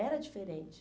Era diferente.